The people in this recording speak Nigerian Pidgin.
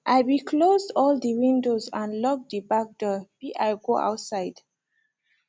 i be closed all de windows and locked de back door be i go outside